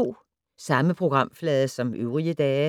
Samme programflade som øvrige dage